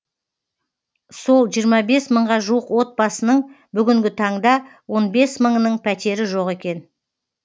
сол жиырма бес мыңға жуық отбасының бүгінгі таңда он бес мыңының пәтері жоқ екен